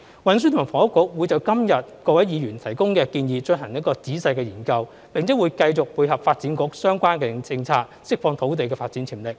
運輸及房屋局會就今天各位議員提供的建議進行仔細研究，並會繼續配合發展局的相關政策，釋放土地發展潛力。